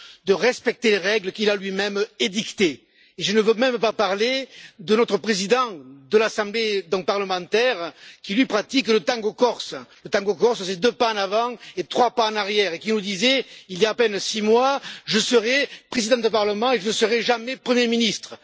de respecter les règles qu'il a lui même édictées et je ne veux même pas parler de notre Président de l'Assemblée parlementaire, qui lui pratique le tango corse le tango corse c'est deux pas en avant et trois pas en arrière puisqu'il nous disait il y a à peine six mois, Je serai président d'un parlement et je ne serai jamais premier ministre.